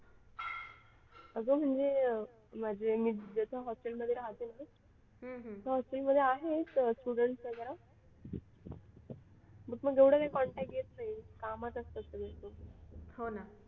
अगं म्हणजे मी जसं hostel मध्ये राहते ना मग hostel मध्ये आहेत students वगैरे पण एवढा काही contact येत नाही कामात असतात संगळे ते